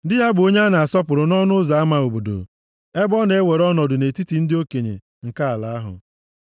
Di ya bụ onye a na-asọpụrụ nʼọnụ ụzọ ama obodo + 31:23 Ọnụ ụzọ ama obodo bụ ebe ndị okenye na-ezukọta akparịta ụka. \+xt Jen 19:1; Rut 4:1-3\+xt* ebe ọ na-ewere ọnọdụ nʼetiti ndị okenye nke ala ahụ.